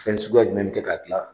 Fɛn suguya jumɛn bɛ kɛ k'a gilan.